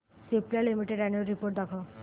Cipla limited annual report दाखव